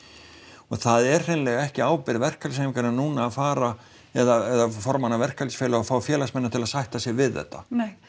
og það er hreinlega ekki ábyrgð verkalýðsfélaganna núna að fara eða formanna verkalýðsfélaganna og fá félagsmennina til að sætta sig við þetta